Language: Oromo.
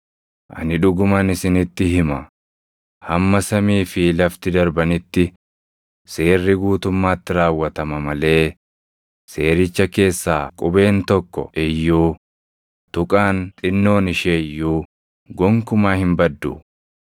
Ani dhuguman isinitti hima; hamma samii fi lafti darbanitti, Seerri guutummaatti raawwatama malee seericha keessaa qubeen tokko iyyuu, tuqaan xinnoon ishee iyyuu gonkumaa hin baddu.